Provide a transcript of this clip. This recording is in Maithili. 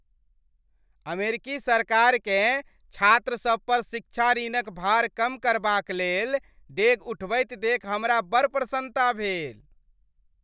अमेरिकी सरकारकेँ छात्रसभ पर शिक्षा ऋणक भार कम करबाकलेल डेग उठबैत देखि हमरा बड़ प्रसन्नता भेल।